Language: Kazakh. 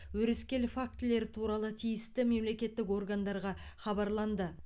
өрескел фактілер туралы тиісті мемлекеттік органдарға хабарланды